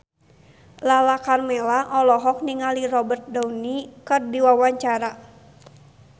Lala Karmela olohok ningali Robert Downey keur diwawancara